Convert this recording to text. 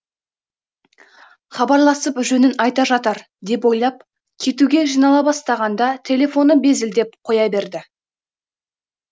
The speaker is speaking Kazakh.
хабарласып жөнін айта жатар деп ойлап кетуге жинала бастағанда телефоны безілдеп қоя берді